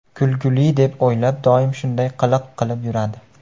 Kulgili deb o‘ylab, doim shunday qiliq qilib yuradi.